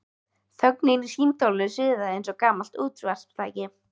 Þögnin í símtólinu suðaði eins og gamalt útvarpstæki.